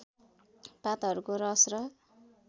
पातहरूको रस र